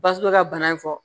Basugu bɛ ka bana in fɔ